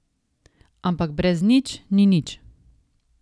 Ampak brez nič ni nič.